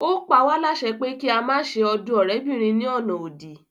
Ó pa wá lásẹ pé kí a má se ọdún ọ̀rẹ́bìnrin ní ọ̀nà òdì